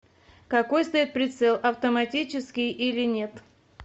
какой стоит прицел автоматический или нет